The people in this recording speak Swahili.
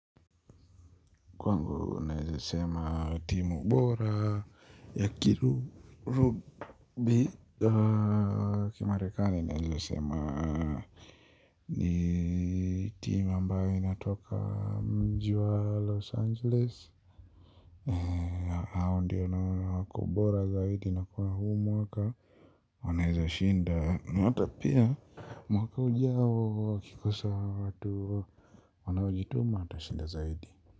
Kwangu naweza sema timu bora ya kilu rubi kimarekani naeza sema ni timu ambayo inatoka mji wa Los Angeles. Hao ndio naona wako bora zaidi na kwa huu mwaka. Wanaweza shinda mwaka ujao ukikosa watu. Wanaojituma wata shinda zaidi.